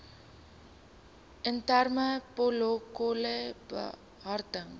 interne protokolle behartig